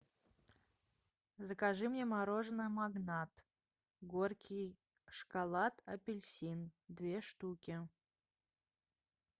закажи мне мороженое магнат горький шоколад апельсин две штуки